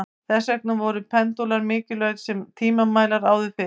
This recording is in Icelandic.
Þess vegna voru pendúlar mikilvægir sem tímamælar áður fyrr.